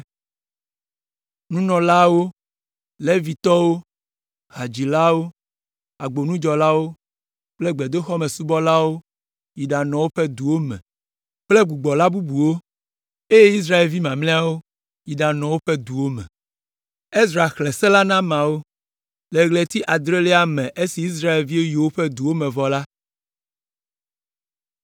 Nunɔlaawo, Levitɔwo, hadzilawo, agbonudzɔlawo kple gbedoxɔmesubɔlawo yi ɖanɔ woƒe duwo me kple gbɔgbɔla bubuwo, eye Israelvi mamlɛawo yi ɖanɔ woƒe duwo me. Le ɣleti adrelia me esi Israelviwo yi woƒe duwo me vɔ la,